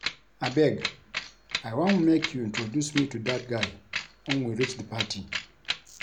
Abeg I wan make you introduce me to dat guy wen we reach the party